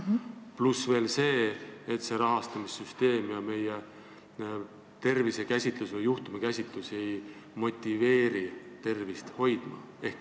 Pluss veel see, et rahastussüsteem ja meie tervisekäsitlus või juhtumikäsitlus ei motiveeri tervist hoidma.